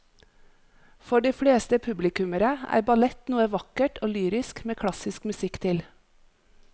For de fleste publikummere er ballett noe vakkert og lyrisk med klassisk musikk til.